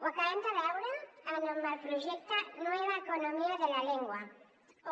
ho acabem de veure amb el projecte nueva eco·nomía de la lengua